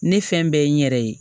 Ne fɛn bɛɛ ye n yɛrɛ ye